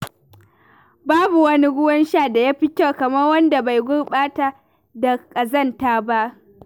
Babu wani ruwan sha da ya fi kyau kamar wanda bai gurɓata da ƙazanta ba.